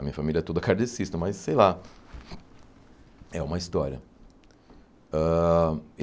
A minha família é toda cardecista, mas sei lá, é uma história. Ãh